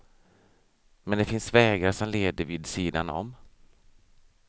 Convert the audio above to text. Men det finns vägar som leder vid sidan om.